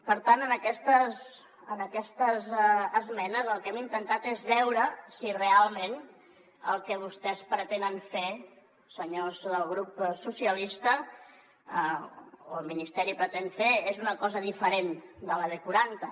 per tant en aquestes esmenes el que hem intentat és veure si realment el que vostès pretenen fer senyors del grup socialistes o el ministeri pretén fer és una cosa diferent de la b quaranta